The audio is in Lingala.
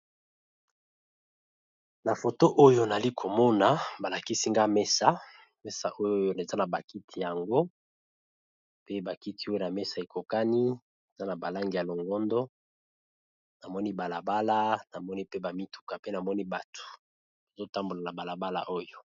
Na foto oyo nali komona ba lakisi nga mesa, mesa oyo eza na ba kiti yango pe ba kiti oyo na mesa ekokani eza na ba langi ya longondo. Namoni bala bala namoni pe ba mituka pe namoni batu, bazo tambola na bala bala oyo.